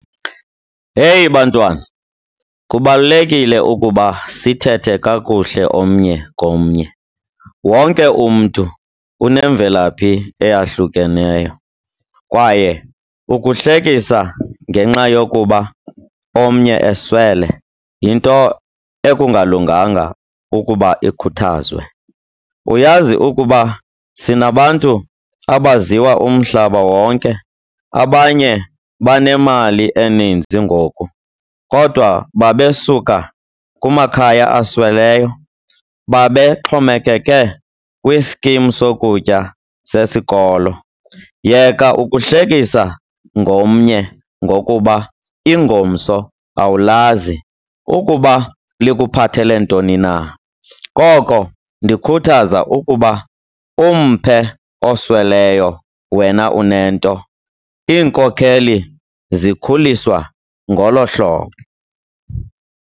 Heyi bantwana, kubalulekile ukuba sithethe kakuhle omnye komnye. Wonke umntu unemvelaphi eyahlukeneyo kwaye ukuhlekisa ngenxa yokuba omnye eswele, yinto ekungalunganga ukuba ikhuthazwe. Uyazi ukuba sinabantu abaziwa umhlaba wonke. Abanye banemali eninzi ngoku kodwa babesuka kumakhaya asweleyo, babexhomekeke kwiskimi sokutya sesikolo. Yeka ukuhlekisa ngomnye ngokuba ingomso awulazi ukuba likuphathele ntoni na. Koko ndikhuthaza uba umphe osweleyo wena unento, iinkokheli zikhuliswa ngolo hlobo.